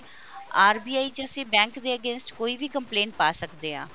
RBI ਚ ਅਸੀਂ bank ਦੇ against ਕੋਈ ਵੀ complaint ਪਾ ਸਕਦੇ ਹਾਂ